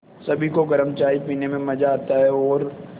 सभी को गरम चाय पीने में मज़ा आता है और